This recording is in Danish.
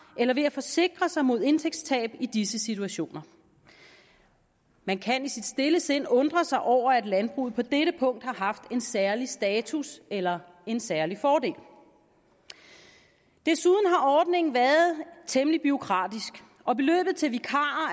eller ved at forsikre sig mod indtægtstab i disse situationer men kan i sit stille sind undre sig over at landbruget på dette punkt har haft en særlig status eller en særlig fordel desuden har ordningen været temmelig bureaukratisk og beløbet til vikarer